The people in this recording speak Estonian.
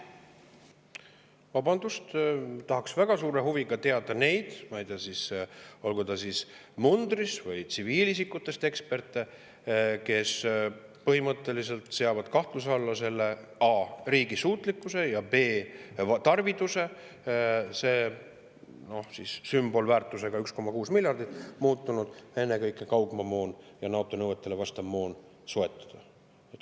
Vabandust, tahaks väga teada, kes on need, ma ei tea siis, mundris või tsiviilisikutest eksperdid, kes põhimõtteliselt seavad kahtluse alla selle riigi suutlikkuse ja tarviduse – see 1,6 miljardit on muutunud kuidagi sümbolväärtuseks – ennekõike kaugmaamoon ja NATO nõuetele vastav moon soetada.